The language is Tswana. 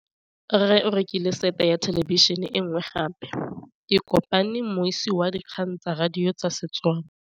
Rre o rekile sete ya thêlêbišênê e nngwe gape. Ke kopane mmuisi w dikgang tsa radio tsa Setswana.